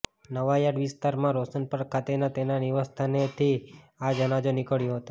નવાયાર્ડ વિસ્તારમાં રોશનપાર્ક ખાતેના તેના નિવાસસ્થાનેથી આ જનાજો નિકળ્યો હતો